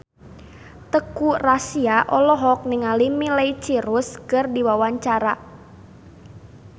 Teuku Rassya olohok ningali Miley Cyrus keur diwawancara